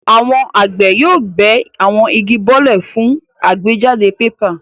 Àwọn àgbẹ̀ yóò bẹ́ àwọn igi bọ́lẹ̀ fún àgbéjáde pépà.